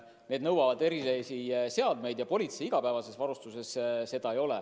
See nõuab erilisi seadmeid ja politsei igapäevases varustuses neid ei ole.